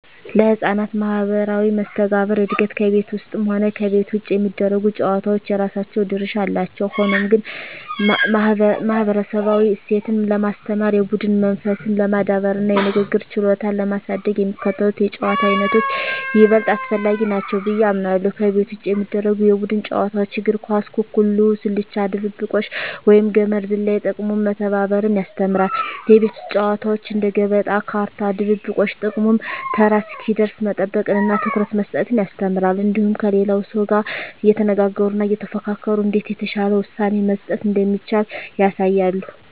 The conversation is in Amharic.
ለሕፃናት ማኅበራዊ መስተጋብር እድገት ከቤት ውስጥም ሆነ ከቤት ውጭ የሚደረጉ ጨዋታዎች የራሳቸው ድርሻ አላቸው። ሆኖም ግን፣ ማኅበረሰባዊ እሴትን ለማስተማር፣ የቡድን መንፈስን ለማዳበርና የንግግር ችሎታን ለማሳደግ የሚከተሉት የጨዋታ ዓይነቶች ይበልጥ አስፈላጊ ናቸው ብዬ አምናለሁ፦ ከቤት ውጭ የሚደረጉ የቡድን ጨዋታዎች እግር ኳስ፣ ኩኩሉ፣ ስልቻ ድብብቆሽ፣ ወይም ገመድ ዝላይ። ጥቅሙም መተባበርን ያስተምራሉ። የቤት ውስጥ ጨዋታዎች እንደ ገበጣ፣ ካርታ፣ ድብብቆሽ… ጥቅሙም ተራ እስኪደርስ መጠበቅንና ትኩረት መስጠትን ያስተምራሉ። እንዲሁም ከሌላው ሰው ጋር እየተነጋገሩና እየተፎካከሩ እንዴት የተሻለ ውሳኔ መስጠት እንደሚቻል ያሳያሉ።